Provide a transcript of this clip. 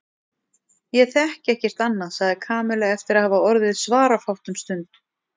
Ég þekki ekkert annað sagði Kamilla eftir að hafa orðið svarafátt um stund.